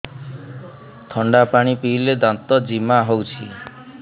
ଥଣ୍ଡା ପାଣି ପିଇଲେ ଦାନ୍ତ ଜିମା ହଉଚି